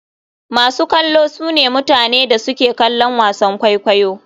Masu kallo sune mutane da suke kallon wasan kwaikwayo.